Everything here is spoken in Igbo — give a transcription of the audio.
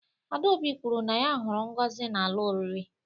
adaobi kwuru na ya huru ngozi n'ala oriri